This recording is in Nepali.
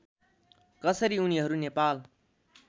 कसरी उनीहरू नेपाल